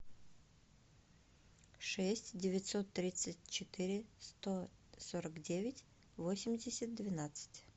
шесть девятьсот тридцать четыре сто сорок девять восемьдесят двенадцать